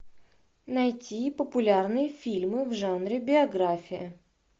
найти популярные фильмы в жанре биография